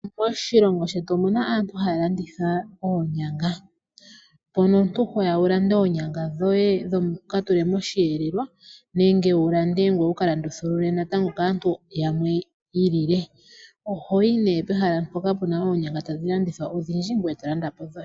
Moshilongo shetu omuna aantu haya landitha oonyanga . Mpono omuntu hoya wulande oonyanga dhoye wuka tule moshiyelelwa nenge wulande ngoye wukalandithulule natango kaantu yamwe yiilile. Ohayi ne pehala mpoka tapu oonyanga tadhi landithwa odhindji ngoye tolanda po dhoye.